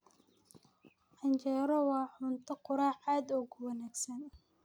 Canjeero waa cunto quraac aad u wanaagsan